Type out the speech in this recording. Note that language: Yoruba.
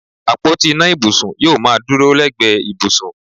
Àpótí ìná ibùsùn yóò máa dúró lẹ́gbẹ̀ẹ́ ibùsùn